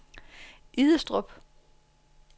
Idestrup